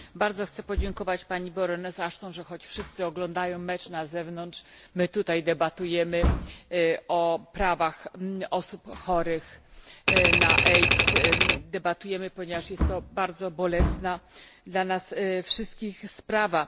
Chcę bardzo podziękować Pani Baroness Ashton, że choć wszyscy oglądają mecz na zewnątrz my tutaj debatujemy o prawach osób chorych na AIDS. Debatujemy, ponieważ jest to bardzo bolesna dla nas wszystkich sprawa.